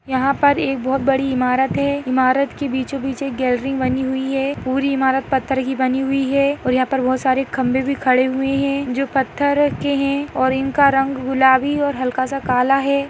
यहा पर एक बहुत बड़ी इमारत है इमारत के बिछो-बीच एक गॅलरी बनी हुई है पूरी इमारत पत्थर की बनी हुई है और यहा पर बहुत सारी खम्बे भी खड़े हुए है जो पत्थर के है और इनका रंग गुलाबी और हल्का सा काला है।